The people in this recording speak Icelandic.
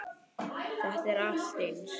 Þetta er allt eins!